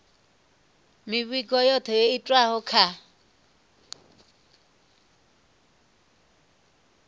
mivhigo yothe yo itwaho kha